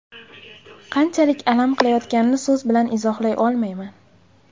Qanchalik alam qilayotganini so‘z bilan izohlay olmayman”.